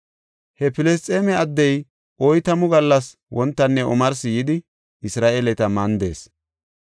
He Filisxeeme addey oytamu gallas wontanne omarsi yidi Isra7eeleta mandees.